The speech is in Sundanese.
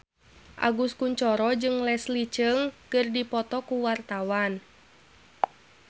Agus Kuncoro jeung Leslie Cheung keur dipoto ku wartawan